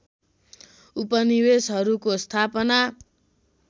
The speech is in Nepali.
उपनिवेशहरूको स्थापना